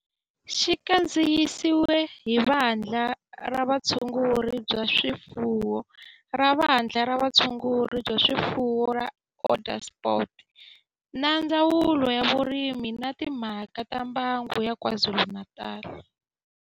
Xi kandziyisiwe hi Vandla ra Vutshunguri bya swifuwo ra Vandla ra Vutshunguri bya swifuwo ra Onderstepoort na Ndzawulo ya Vurimi na Timhaka ta Mbango ya KwaZulu-Natal